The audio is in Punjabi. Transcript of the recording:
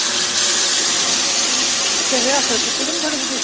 ਹਾਂ ਉੱਤੇ rehearsal ਕੀਤੀ ਕਿ ਨਹੀਂ ਥੋੜੀ ਬਹੁਤੀ